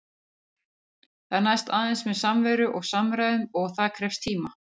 Það næst aðeins með samveru og samræðum- og það krefst tíma.